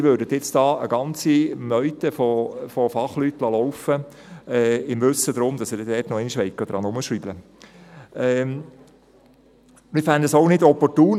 Sie würden nun also eine ganze Meute von Fachleuten laufen lassen, im Wissen darum, dass Sie nochmals daran herumschrauben wollen.